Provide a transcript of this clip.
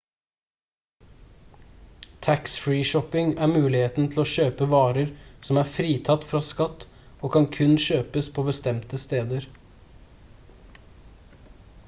tax-free shopping er muligheten til å kjøpe varer som er fritatt fra skatt og kan kun kjøpes på bestemte steder